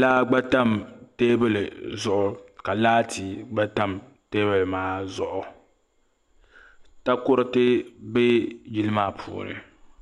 laa gba tam teebuli zuɣu ka laati gba tam taabulo maa zuɣu takoriti bɛ yili maa puuni.